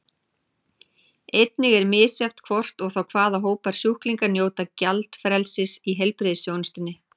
Einnig er misjafnt hvort og þá hvaða hópar sjúklinga njóta gjaldfrelsis í heilbrigðisþjónustunni.